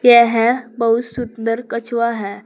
यह बहुत सुंदर कछुआ है।